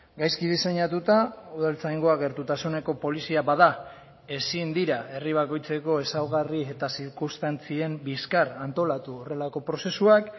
gaizki diseinatuta udaltzaingoa gertutasuneko polizia bada ezin dira herri bakoitzeko ezaugarri eta zirkunstantzien bizkar antolatu horrelako prozesuak